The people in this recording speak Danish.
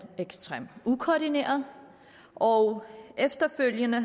ekstremt ukoordineret og efterfølgende